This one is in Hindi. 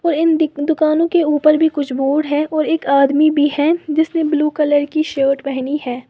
तो इन दुकानों के ऊपर भी कुछ बोर्ड है और एक आदमी भी है जिसने ब्लू कलर की शर्ट पहनी है।